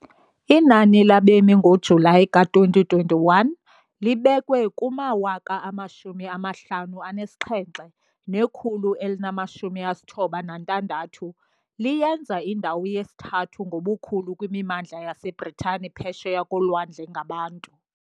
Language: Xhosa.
Inani labemi ngoJulayi ka-2021 libekwe kuma-57,196, liyenza indawo yesithathu ngobukhulu kwimimandla yaseBritane phesheya kolwandle ngabantu.